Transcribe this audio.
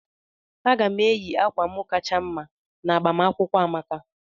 Aga m eyi akwa m kacha mma n'agbamakwụkwọ Amaka.